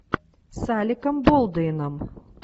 с алеком болдуином